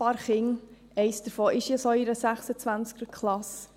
Ich habe mehrere Kinder, und eines davon ist in einer solchen 26er-Klasse.